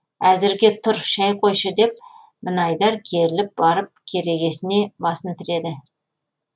әзірге тур шай қойшы деп мінайдар керіліп барып керегесіне басын тіреді